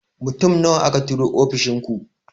Mutum nawa aka turo ofishin ku?